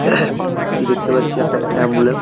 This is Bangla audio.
এটি দেখতে পাচ্ছি একটা অ্যাম্বুলেন্স ।